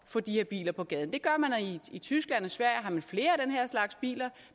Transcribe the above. få de her biler på gaden det gør man i tyskland og i sverige har man flere af den her slags biler